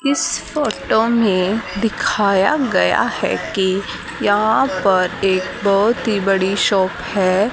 इस फोटो में दिखाया गया है कि यहां पर एक बहोत ही बड़ी शॉप है।